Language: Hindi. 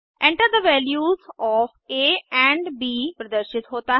Enter the values of A and B प्रदर्शित होता है